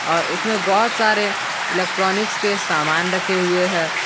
और उसमें बहुत सारे इलेक्ट्रॉनिक्स के सामान रखे हुए हैं।